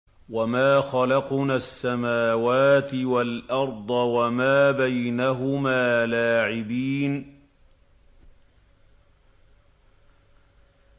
وَمَا خَلَقْنَا السَّمَاوَاتِ وَالْأَرْضَ وَمَا بَيْنَهُمَا لَاعِبِينَ